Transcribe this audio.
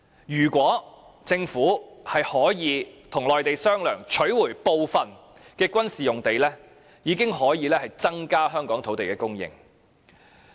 如果政府可以與內地商量，取回部分軍事用地，已經可以增加香港的土地供應。